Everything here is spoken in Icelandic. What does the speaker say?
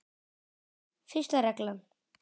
Fyrsta reglan.